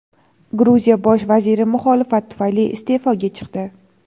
Gruziya Bosh vaziri muxolifat tufayli iste’foga chiqdi.